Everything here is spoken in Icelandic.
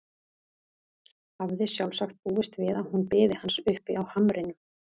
Hafði sjálfsagt búist við að hún biði hans uppi á hamrinum.